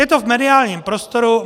Je to v mediálním prostoru.